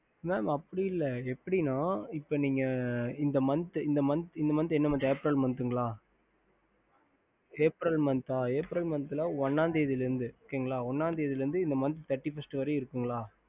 mam அப்டி இல்ல எப்டின்னா நீங்க இந்த month aprail month இல்லையா ஆமா sir april month ஒண்ணா தேதில இருந்து இந்த month thirty first வரிக்கும் இருக்கு இல்ல